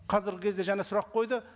қазіргі кезде және сұрақ қойды